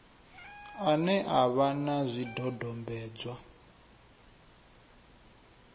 ane a vha na zwidodombedzwa